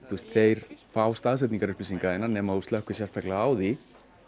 þeir fá staðsetningarupplýsingar nema slökkt sé sérstaklega á því